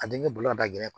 A denkɛ bolo ka da gɛlɛn